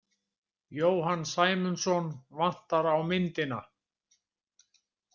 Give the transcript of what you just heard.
Jóhann Sæmundsson vantar á myndina.